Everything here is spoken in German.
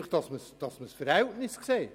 Dies nur, um die Verhältnisse zu sehen.